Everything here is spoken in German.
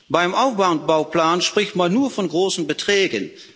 Beim Aufbauplan spricht man nur von großen Beträgen.